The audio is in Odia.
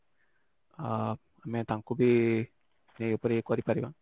ଆଁ ଆମେ ତାଙ୍କୁ ବି ଏଇ ଉପରେ ମାନେ ଇଏ କରି ପାରିବା